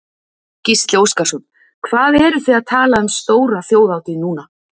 Gísli Óskarsson: Hvað eruð þið að tala um stóra þjóðhátíð núna?